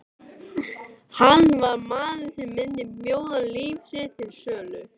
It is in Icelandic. Hann var maður sem myndi bjóða líf sitt til sölu.